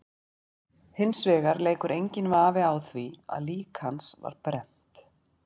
Hins vegar leikur enginn vafi á því að lík hans var brennt.